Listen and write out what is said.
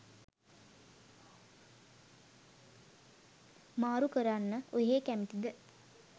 මාරු කරන්න ඔහේ කැමතිද?